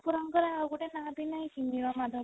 ଠାକୁରଙ୍କର ଆଉ ଗୋଟେ ନା ବି ନାହିଁ କି ନୀଳମାଧଵ